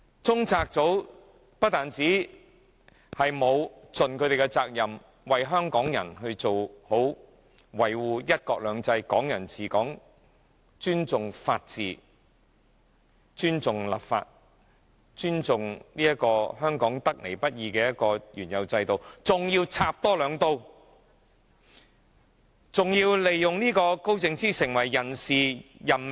中策組不但沒有盡其責任，為香港人好好維護"一國兩制"、"港人治港"、尊重法治、尊重立法，以及尊重香港得來不易的原有制度，更還要多插兩刀，還要利用高靜芝插手人事任命。